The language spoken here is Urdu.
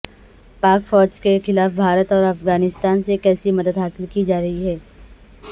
پاک فوج کے خلاف بھارت اورافغانستان سے کیسے مددحاصل کی جارہی ہے